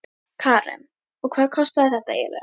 Karen: Og hvað kostaði þetta eiginlega?